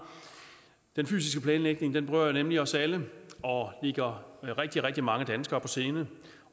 den fysiske planlægning berører nemlig os alle og ligger rigtig rigtig mange danskere på sinde